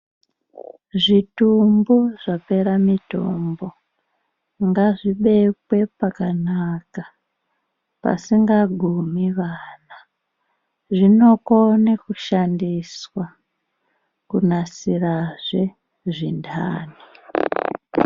Zvitumbu zvapera mutombo ngazvibekwe pakanaka pasingagumi vana zvinokone kushandiswa kunasirazve zvintani.